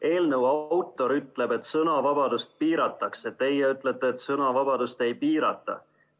Eelnõu autor ütleb, et sõnavabadust piiratakse, teie ütlete, et sõnavabadust ei piirata.